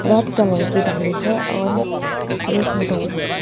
Red colour की डाली है और है।